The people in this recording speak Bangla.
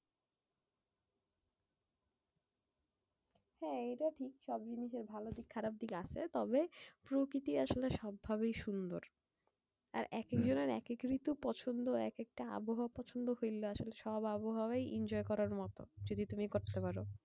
হ্যাঁ এইটা ঠিক। সব জিনিসের ভালো দিক খারাপ দিক আছে। তবে প্রকৃতি আসলে সব ভাবেই সুন্দর। আর এক এক জনের এক এক ঋতু পছন্দ। এক একটা আবহাওয়া পছন্দ কিংবা আসলে সব আবহাওয়াই enjoy করার মতো, যদি তুমি করতে পারো।